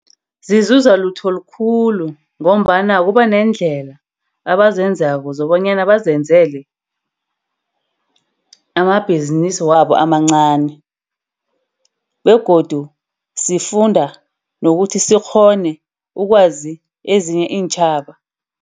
Zizuza lutho likhulu ngombana kuba nendlela abazenzako zokobanyana bazenzele amabhizinisi wabo amancani. Begodu sifunda nokuthi sikghone ukwazi ezinye iintjhaba.